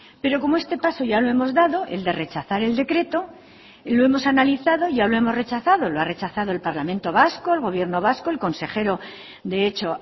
pero como este paso ya lo hemos dado el de rechazar el decreto lo hemos analizado y ya lo hemos rechazado lo ha rechazado el parlamento vasco el gobierno vasco el consejero de hecho